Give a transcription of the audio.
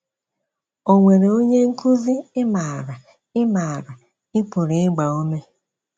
Ọ̀ nwere onye nkúzị ị maara ị maara ị pụrụ ịgba ume?